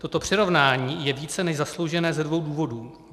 Toto přirovnání je více než zasloužené ze dvou důvodů.